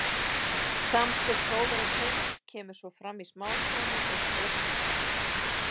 Samspil sólar og tungls kemur svo fram í smástreymi og stórstreymi.